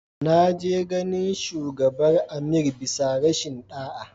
Na je ganin shugabar Amir bisa rashin da'a.